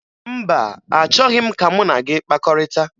Mba, achọghị m ka mụ na gị kpakọrịta